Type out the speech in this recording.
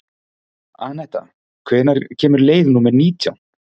Anetta, hvenær kemur leið númer nítján?